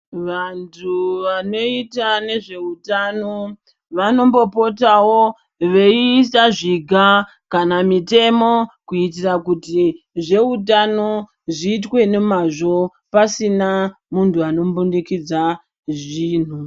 Vantu vanoita nezvehutano vanombopotawo veisa zviga kana mitemo kuitira kuti zvehutano zviitwe nemwazvo pasina muntu anombundikidza zvintu.